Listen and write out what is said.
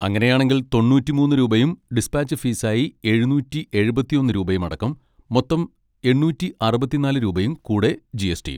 അങ്ങനെയാണെങ്കിൽ തൊണ്ണൂറ്റിമൂന്ന് രൂപയും ഡിസ്പാച്ച് ഫീയായി എഴുന്നൂറ്റി എഴുപത്തിയൊന്ന് രൂപയും അടക്കം മൊത്തം എണ്ണൂറ്റിഅറുപത്തിനാല് രൂപയും കൂടെ ജി. എസ്. ടി.യും.